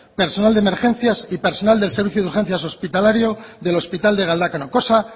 personal de emergencias y personal del sistema de urgencias hospitalario del hospital de galdakao cosa